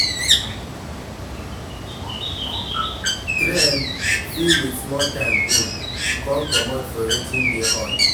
Trend fit with small time old, come comot for wetin dey hot